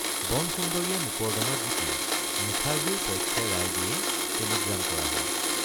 বনসুন্দৰীয়ে মোকৰ্দমাত জিকিল মুখাৰ্জীৰ পক্ষে ৰায় দিয়ে টেলিগ্ৰাম কৰা হল।